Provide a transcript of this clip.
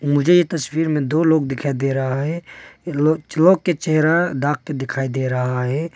मुझेे ये तस्वीर में दो लोग दिखाई दे रहा है। ई लोग लोग के चेहरा ढाक के दिखाई दे रहा है।